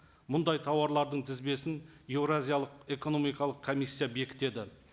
мұндай тауарлардың тізбесін еуразиялық экономикалық комиссия бекітеді